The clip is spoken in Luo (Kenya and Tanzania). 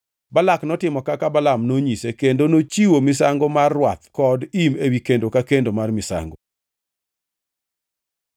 Balak notimo kaka Balaam nonyise kendo nochiwo misango mar rwath kod im ewi kendo ka kendo mar misango.